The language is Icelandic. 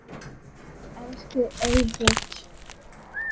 Elsku Egill.